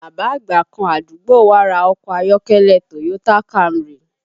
Bàbá àgbà kan àdúgbò wá ra ọkọ ayọ́kẹ́lẹ́ Toyota Camry